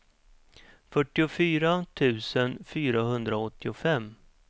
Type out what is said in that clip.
fyrtiofyra tusen fyrahundraåttiofem